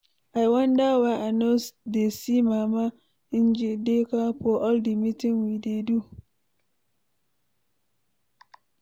I wonder why I no dey see mama Njideka for all the meeting we dey do